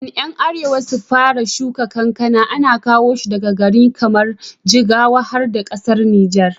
Kafin 'yan arewa su fara shuka kankana, ana kowa shi daga gari kamar jigawa har da ƙasar Nijar